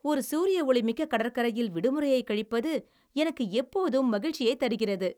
ஒரு சூரியஒளிமிக்க கடற்கரையில் விடுமுறையைக் கழிப்பது எனக்கு எப்போதும் மகிழ்ச்சியைத் தருகிறது.